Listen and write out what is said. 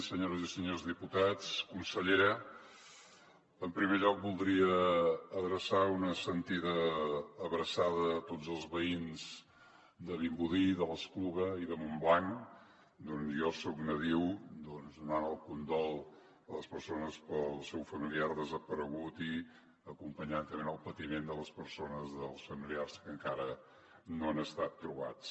senyores i senyors diputats consellera en primer lloc voldria adreçar una sentida abraçada a tots els veïns de vimbodí de l’espluga i de montblanc d’on jo soc nadiu donant el condol a les persones pel seu familiar desaparegut i acompanyar també en el patiment les persones dels familiars que encara no han estat trobats